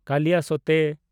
ᱠᱟᱞᱤᱭᱟᱥᱳᱛᱮ